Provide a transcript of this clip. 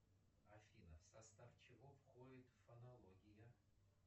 афина в состав чего входит фонология